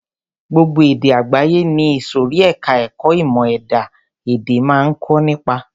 Gbogbo èdè àgbáyé ni ìsòrí ẹka ẹ̀kọ́ ìmọ̀ ẹ̀dá-èdè máa ń kọ́ nípa.